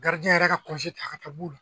yɛrɛ y'a ka ta ka ta b'u la